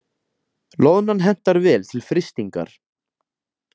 Loðnan hentar vel til frystingar